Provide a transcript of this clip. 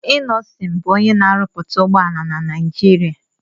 Innọsịn bù onyé na-árúpúta ụgbọala na Nijiria